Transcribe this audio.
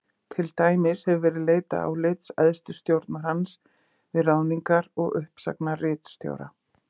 Til dæmis hefur verið leitað álits æðstu stjórnar hans við ráðningar og uppsagnir ritstjóra.